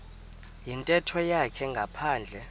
yintetho yakhe ngaphandle